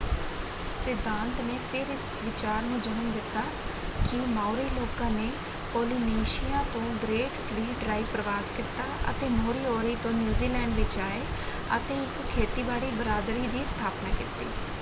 ਸਿਧਾਂਤ ਨੇ ਫਿਰ ਇਸ ਵਿਚਾਰ ਨੂੰ ਜਨਮ ਦਿੱਤਾ ਕਿ ਮਾਓਰੀ ਲੋਕਾਂ ਨੇ ਪੋਲੀਨੇਸ਼ੀਆ ਤੋਂ ਗ੍ਰੇਟ ਫਲੀਟ ਰਾਹੀਂ ਪ੍ਰਵਾਸ ਕੀਤਾ ਅਤੇ ਮੋਰੀਓਰੀ ਤੋਂ ਨਿਊਜ਼ੀਲੈਂਡ ਵਿੱਚ ਆਏ ਅਤੇ ਇੱਕ ਖੇਤੀਬਾੜੀ ਬਰਾਦਰੀ ਦੀ ਸਥਾਪਨਾ ਕੀਤੀ।